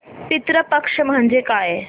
पितृ पक्ष म्हणजे काय